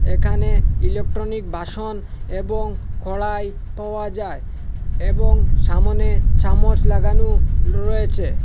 এখানে ইলেকট্রনিক বাসন এবং কড়াই পাওয়া যায় এবং সামোনে চামচ লাগানো রয়েছে।